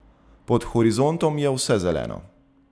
Pod horizontom je vse zeleno.